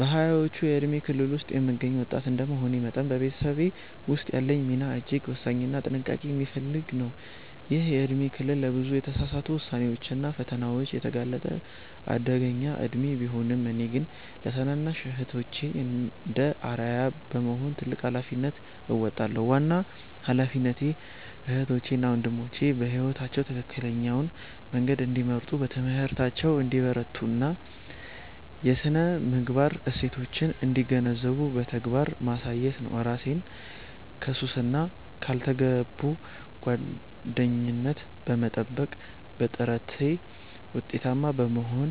በሃያዎቹ የእድሜ ክልል ውስጥ የምገኝ ወጣት እንደመሆኔ መጠን፤ በቤተሰቤ ውስጥ ያለኝ ሚና እጅግ ወሳኝና ጥንቃቄ የሚፈልግ ነው። ይህ የእድሜ ክልል ለብዙ የተሳሳቱ ውሳኔዎችና ፈተናዎች የተጋለጠ አደገኛ እድሜ ቢሆንም፤ እኔ ግን ለታናናሽ እህቶቼ እንደ አርአያ በመሆን ትልቅ ኃላፊነት እወጣለሁ። ዋናው ኃላፊነቴ እህቶቼ እና ወንድሞቼ በሕይወታቸው ትክክለኛውን መንገድ እንዲመርጡ፣ በትምህርታቸው እንዲበረቱና የሥነ-ምግባር እሴቶችን እንዲገነዘቡ በተግባር ማሳየት ነው። እራሴን ከሱስና ካልተገቡ ጓደኝነት በመጠበቅ፤ በጥረቴ ውጤታማ መሆን